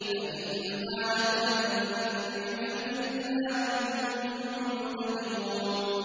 فَإِمَّا نَذْهَبَنَّ بِكَ فَإِنَّا مِنْهُم مُّنتَقِمُونَ